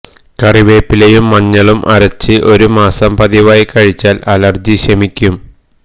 കറിവേപ്പിലയും മഞ്ഞളും അരച്ച് ഒരു മാസം പതിവായി കഴിച്ചാൽ അലർജി ശമിക്കും